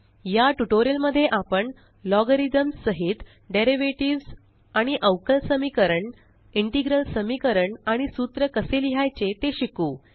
या ट्यूटोरियल मध्ये आपण लॉगरिथम्स सहित डेरीवेटीव आणि अवकल समीकरण इंटेग्रल समीकरण आणि सूत्र कसे लिहायचे ते शिकू